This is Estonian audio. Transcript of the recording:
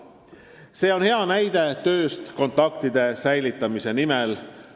See on hea näide tööst kontaktide säilitamise nimel.